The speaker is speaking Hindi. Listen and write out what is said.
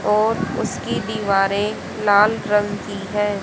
और उसकी दीवारें लाल रंग की है।